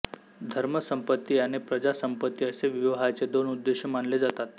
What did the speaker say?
धर्मसंपत्ती आणि प्रजासंपत्ती असे विवाहाचे दोन उद्देश मानले जातात